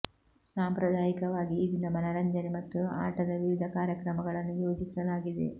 ಸಾಂಪ್ರದಾಯಿಕವಾಗಿ ಈ ದಿನ ಮನರಂಜನೆ ಮತ್ತು ಆಟದ ವಿವಿಧ ಕಾರ್ಯಕ್ರಮಗಳನ್ನು ಯೋಜಿಸಲಾಗಿದೆ